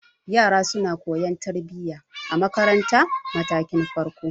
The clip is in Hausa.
Yara suna koyan tarbiya a marantar matakin farko.